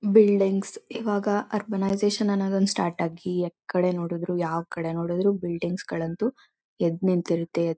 buildings ಇವಾಗ urbanisation ಒಂದ್ start ಆಗಿ ಎಥಿಕಡೆ ನೋಡಿದ್ರು ಯಾವ್ ಕಡೆ ನೋಡಿದ್ರು ಬಿಲ್ಡಿಂಗ್ಸ್ಗಳಂತೂ ಎದ್ ನಿಂತಿರುತ್ತೆ ಎತ್ರ __